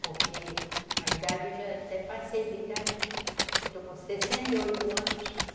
Porque a idade, eu já até passei da idade, eu estou com sessenta e oito anos.